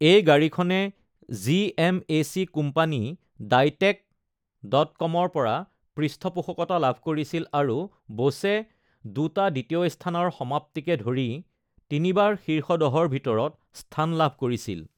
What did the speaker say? এই গাড়ীখনে GMAC. Company ডাইটেক.কমৰ পৰা পৃষ্ঠপোষকতা লাভ কৰিছিল আৰু বুছে দুটা দ্বিতীয় স্থানৰ সমাপ্তিকে ধৰি তিনিবাৰ শীৰ্ষ দহৰ ভিতৰত স্থান লাভ কৰিছিল।